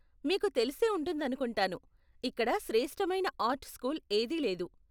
మీకు తెలిసే ఉంటుందనుకుంటాను, ఇక్కడ శ్రేష్ఠమైన ఆర్ట్ స్కూల్ ఏదీ లేదు.